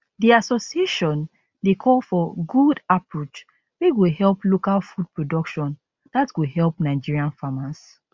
di association dey call for good approach wey go help local food production dat go help nigerian farmers